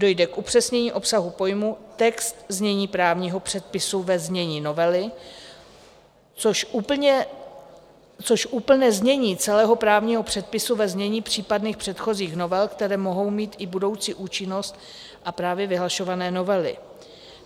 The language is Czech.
Dojde k upřesnění obsahu pojmu, text znění právního předpisu ve znění novely, což úplné znění celého právního předpisu ve znění případných předchozích novel, které mohou mít i budoucí účinnost a právě vyhlašované novely.